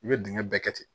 I bɛ dingɛ bɛɛ kɛ ten